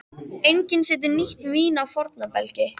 Enginn setur nýtt vín á forna belgi.